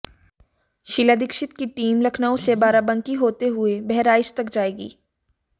शीला दीक्षित की टीम लखनऊ से बाराबंकी होते हुए बहराइच तक जाएगी